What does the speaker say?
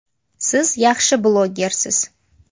Siz yaxshi blogersiz.